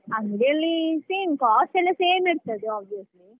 ಅಂಗ್ಡಿಯಲ್ಲಿ same cost ಎಲ್ಲ same ಇರ್ತದೆ obviously.